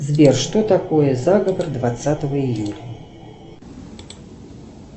сбер что такое заговор двадцатого июля